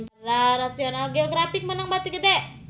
National Geographic meunang bati gede